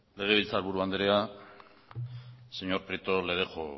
legebiltzarburu andrea señor prieto le dejo